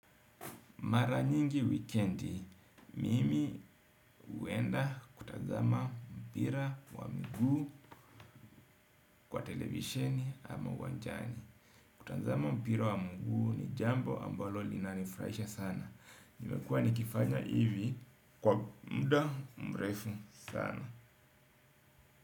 Mara nyingi wikendi, mimi huenda kutazama mpira wa mguu kwa televisheni ama uwanjani. Kutazama mpira wa mguu ni jambo ambalo linanifuraisha sana. Nimekua nikifanya hivi kwa mda mrefu sana.